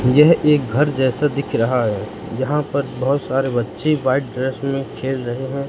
यह एक घर जैसा दिख रहा है जहां पर बहुत सारे बच्चे व्हाइट ड्रेस में खेल रहे हैं।